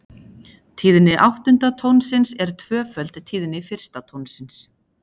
Tíðni áttunda tónsins er tvöföld tíðni fyrsta tónsins.